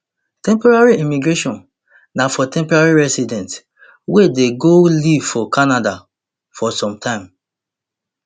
temporary immigration na for temporary residents wey dey go live for canada for some time